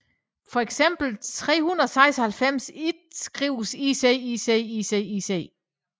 Fx kan 396 ikke skrives ICICICIC